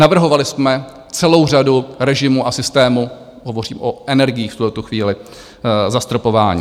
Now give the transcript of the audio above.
Navrhovali jsme celou řadu režimů a systémů - hovořím o energiích v tuto chvíli - zastropování.